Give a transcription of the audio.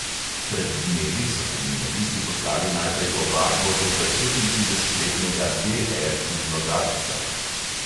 Pred dnevi so kriminalisti poslali najprej ovadbo zoper petintridesetletnega D R iz logatca.